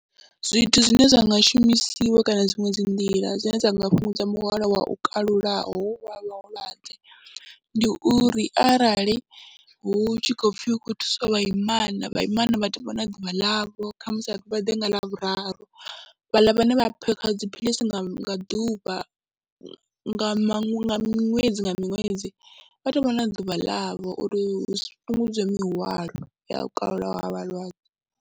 Zwithu zwine zwa nga shumisiwa kana dziṅwe dzi nḓila dzine dza nga fhungudza muhwalo wa u kalulaho hu vha vhulwadze ndi uri arali hu tshi khou pfhi hu khou thusiwa vhaimana, vhaimana vha tou vha na ḓuvha ḽavho kha musi ha pfi vha ḓe nga Ḽavhuraru, vhaḽa vhane vha phakha dziphilisi nga ḓuvha nga nga ṅwedzi nga ṅwedzi, vha tou vha na ḓuvha ḽavho uri hu fhungudzwe mihwalo ya kalulaho ha vhalwadze.